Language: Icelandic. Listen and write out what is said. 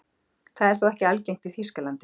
Það er þó ekki algengt í Þýskalandi.